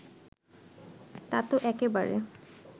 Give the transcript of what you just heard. তা তো একেবারে